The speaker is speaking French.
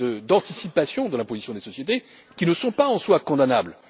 prévision, d'anticipation de la position des sociétés, qui ne sont pas en soi condamnables.